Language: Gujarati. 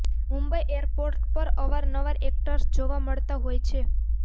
મુંબઈ એરપોર્ટ પર અવારનવાર એક્ટર્સ જોવા મળતા હોય છે